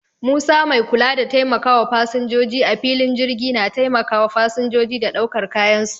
Musa mai kula da taimakawa fasinjoji a filin jirgi na taimakawa fasinjoji da daukar kayan su.